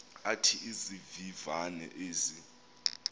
athi izivivane ezi